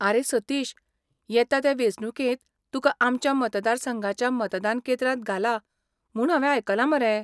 आरे सतिश, येता ते वेंचणुकेंत तुका आमच्या मतदारसंघाच्या मतदान केंद्रांत घाला म्हूण हांवें आयकलां मरे.